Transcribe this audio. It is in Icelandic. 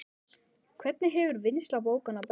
Hvernig hefur vinnsla bókanna breyst?